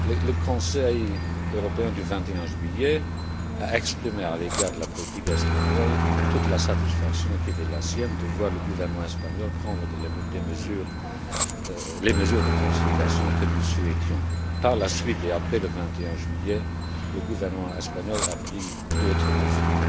Le Conseil européen du 21 juillet a exprimé à l'égard de la politique espagnole toute la satisfaction qui était la sienne de voir le gouvernement espagnol prendre les mesures de consolidation que nous souhaitions. Par la suite, et après le 21 juillet, le gouvernement espagnol a pris d'autres mesures.